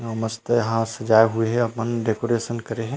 अऊ मस्त यहाँ सजाए हुए हे अपन डेकोरेशन करे हे।